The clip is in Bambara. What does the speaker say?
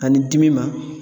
Ani dimi ma